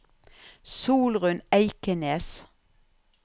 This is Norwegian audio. Solrunn Eikenes